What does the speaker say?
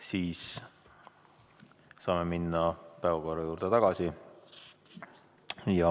Siis saame minna päevakorra juurde tagasi.